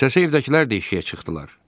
Səsə evdəkilər də işiyə çıxdılar.